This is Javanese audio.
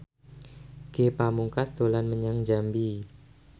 Ge Pamungkas dolan menyang Jambi